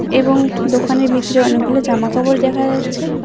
এবং দোকানের ভিতরে অনেকগুলো জামা কাপড় দেখা যাচ্ছে।